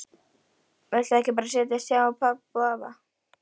Viltu ekki bara setjast hjá pabba og afa?